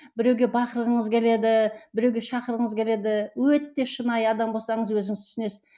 біреуге бақырғыңыз келеді біреуге шақырғыңыз келеді өте шынайы адам болсаңыз өзіңіз түсінесіз